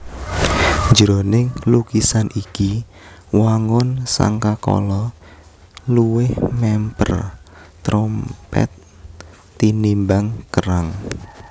Jroning lukisan iki wangun sangkakala luwih mèmper terompèt tinimbang kerang